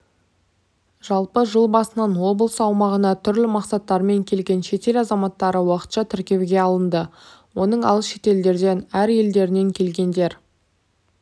жалпы жыл басынан облыс аумағына түрлі мақсаттармен келген шетел азаматтары уақытша тіркеуге алынды оның алыс шетелдерден ал елдерінен келгендер